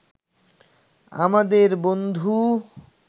আমাদের বন্ধু